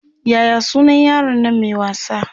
Yaya sunan yaron Nan Mai wasa?